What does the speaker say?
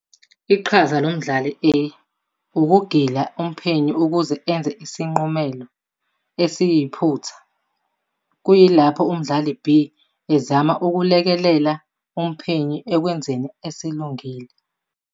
Iqhaza lomdlali A ukugila umphenyi ukuze enze isinqumelo esiyiphutha, kuyilapho umdlali B ezama ukulekelela umphenyi ekwenzeni esilungile.